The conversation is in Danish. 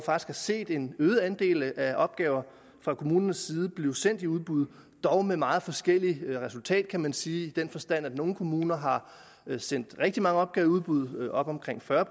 har set en øget andel af opgaver fra kommunernes side blive sendt i udbud dog med meget forskelligt resultat kan man sige i den forstand at nogle kommuner har sendt rigtig mange opgaver i udbud op omkring fyrre